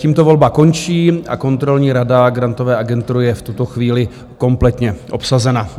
Tímto volba končí a Kontrolní rada Grantové agentury je v tuto chvíli kompletně obsazena.